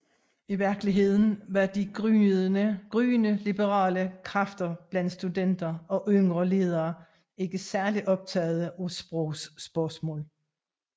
I virkeligheden var de gryende liberale kræfter blandt studenter og yngre ledere ikke særlig optagede af sprogspørgsmål